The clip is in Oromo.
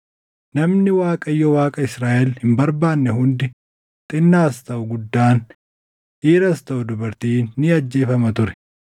Namni Waaqayyo Waaqa Israaʼel hin barbaanne hundi xinnaas taʼu guddaan, dhiiras taʼu dubartiin ni ajjeefama ture.